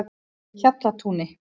Hjallatúni